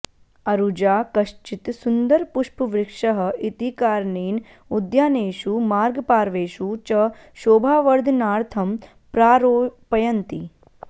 अरुजा कश्चित् सुन्दरपुष्पवृक्षः इति कारणेन उद्यानेषु मार्गपार्वेषु च शोभावर्धनार्थं प्रारोपयन्ति